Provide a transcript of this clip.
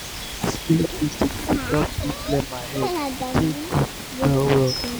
dis slow music dey help me clear my head e dey good well-well.